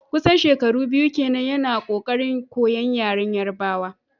kusan shekaru biyu kenan yana kokarin koyon yaren Yarbawa.